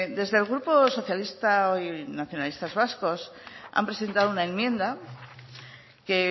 desde el grupo socialista y nacionalistas vascos han presentado una enmienda que